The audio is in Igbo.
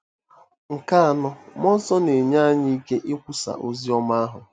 Nke anọ, mmụọ nsọ na-enye anyị ike ikwusa ozi ọma ahụ.